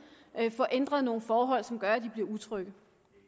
får ændret nogle forhold som gør at de bliver utrygge